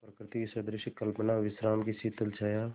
प्रकृति की सहृदय कल्पना विश्राम की शीतल छाया